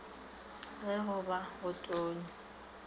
ge go be go tonya